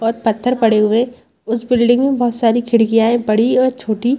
और पत्थर पड़े हुए हैं उस बिल्डिंग में बहुत सारी खिड़कियां हैं बड़ी और छोटी।